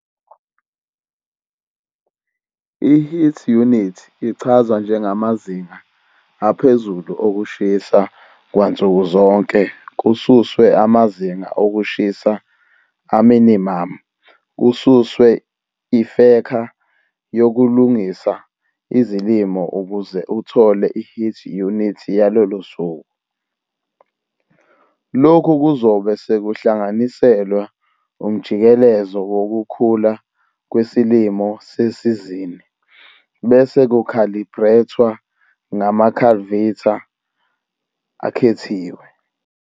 I-heat unit ichazwa njengamazinga aphezulu okushisa kwansukuzonke kususwe amazinga okushisa a-minimum kususwe ifekha yokulungisa izilimo ukuze uthole i-heat unit yalolo suku. Lokhu kuzobe sekuhlanganiselwa umjikelezo wokukhula kwesilimo sesizini bese ku-khalibrethwa ngama-cultivar akhethiwe.